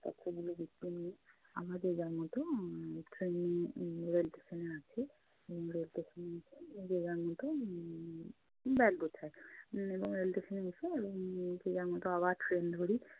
বাক্সগুলো গুছিয়ে নি। আবার যে যার মতো উম train উম rail station এ আসে। Rail station এসে যে যার মতো উম bag গুছায় এবং rail station এ এসে এবং উম যে যার মতো আবার train ধরি।